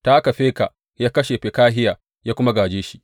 Ta haka Feka ya kashe Fekahiya ya kuma gāje shi.